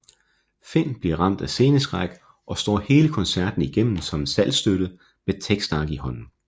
Finn bliver ramt af sceneskræk og står hele koncerten igennem som en saltstøtte med tekstark i hånden